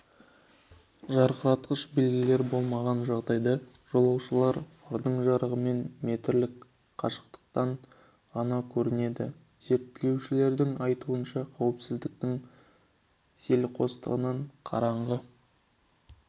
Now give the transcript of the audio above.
жарқыратқыш белгілер болмаған жағдайда жолаушылар фардың жарығымен метрлік қашықтықтан ғана көрінеді зерттеушілердің айтуынша қауіпсіздіктің селқостығынан қараңғы